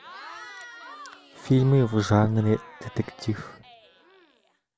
фильмы в жанре детектив